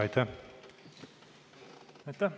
Aitäh!